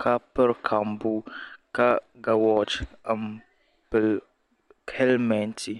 ka piri kambuu ka ga woochi m pili helimenti.